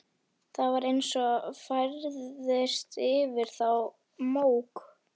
Það var eins og færðist yfir þá mók.